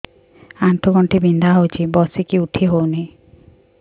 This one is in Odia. ଆଣ୍ଠୁ ଗଣ୍ଠି ବିନ୍ଧା ହଉଚି ବସିକି ଉଠି ହଉନି